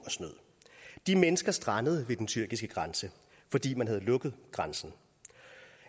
de mennesker strandede ved den tyrkiske grænse fordi man havde lukket grænsen